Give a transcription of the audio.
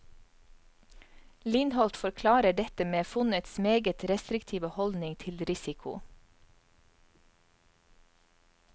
Lindholt forklarer dette med fondets meget restriktive holdning til risiko.